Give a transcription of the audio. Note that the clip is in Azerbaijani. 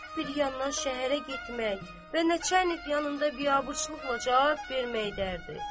Bir yandan şəhərə getmək və neçə yanımda biabırçılıqla cavab vermək dərdi.